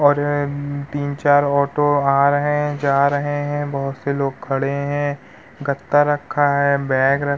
और तीन-चार ऑटो आ रहे हैं जा रहे हैं। बोहोत से लोग खड़े हैं। गत्ता रखा है। बैग रक्खा --